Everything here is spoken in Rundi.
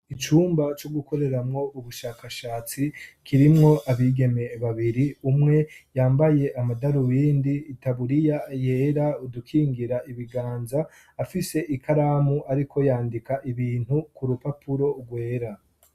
Icumba co gukoreramwo ubushakashatsi kirimwo abigeme babiri umwe yambaye amadaruwindi, itaburiya yera udukingira ibiganza afise ikaramu ariko yandika ibintu ku rupapuro rwera.